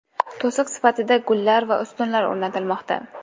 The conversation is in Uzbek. To‘siq sifatida gullar va ustunlar o‘rnatilmoqda.